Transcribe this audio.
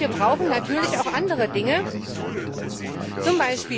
Und wir brauchen natürlich auch andere Dinge, z.